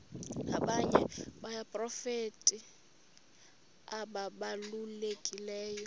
abanye abaprofeti ababalulekileyo